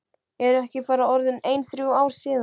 Eru ekki bara orðin ein þrjú ár síðan?